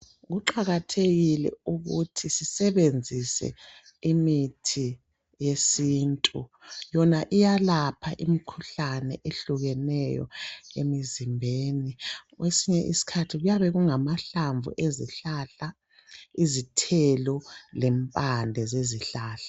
kuqakathekile ukuthi sisebenzise imithi yesintu yona iyalapha imikhuhlane ehlukeneyo emizimbeni kwesinye isikhathi kuyabe kungamahlamvu ezihlahla izithelo lempande zezihlahla